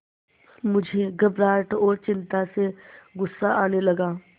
मुझे घबराहट और चिंता से गुस्सा आने लगा